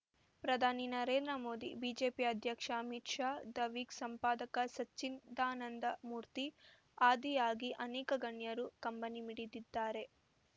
ಪ್ರಧಾನಿ ನರೇಂದ್ರ ಮೋದಿ ಬಿಜೆಪಿ ಅಧ್ಯಕ್ಷ Amit Shah The Week ಸಂಪಾದಕ ಸಚ್ಚಿದಾನಂದ ಮೂರ್ತಿ ಆದಿಯಾಗಿ ಅನೇಕ ಗಣ್ಯರು ಕಂಬನಿ ಮಿಡಿದಿದ್ದಾರೆ